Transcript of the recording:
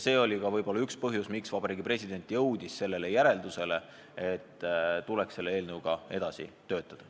See oli ka võib-olla üks põhjusi, miks Vabariigi President jõudis järeldusele, et tuleks selle seadusega edasi töötada.